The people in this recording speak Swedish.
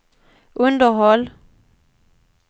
underhåll